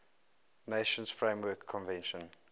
nations framework convention